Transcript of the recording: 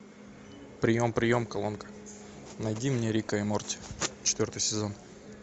прием прием колонка найди мне рика и морти четвертый сезон